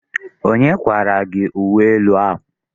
Onye kparara gị uwe elu gị?